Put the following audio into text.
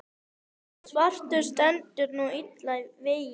svartur stendur nú illa vígi.